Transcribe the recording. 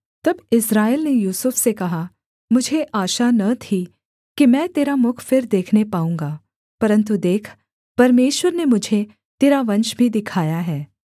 तब इस्राएल ने यूसुफ से कहा मुझे आशा न थी कि मैं तेरा मुख फिर देखने पाऊँगा परन्तु देख परमेश्वर ने मुझे तेरा वंश भी दिखाया है